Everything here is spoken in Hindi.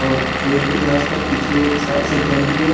और पेड़ भी है आसपास पीछे एक और भी है।